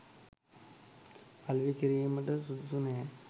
අලෙවි කිරීමට සුදුසු නෑ.